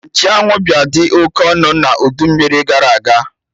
Nchụ anwụ bịa dị oke ọnụ na udu mmiri gara aga